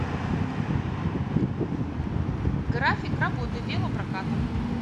график работы велопроката